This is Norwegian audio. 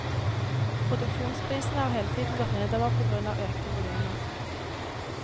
Produksjonsprisene har hele tiden gått nedover på grunn av økte volumer.